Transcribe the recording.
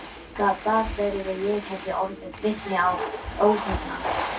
Gat það verið að ég hefði orðið vitni að óhugnan